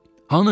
Hanı?